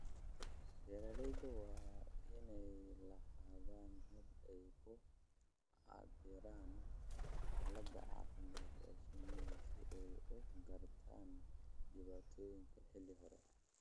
Beeralayda waa inay lahaadaan habab ay ku cabbiraan xaaladda caafimaad ee shinnida si ay u gartaan dhibaatooyinka xilli hore.